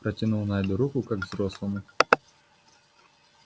протянул найду руку как взрослому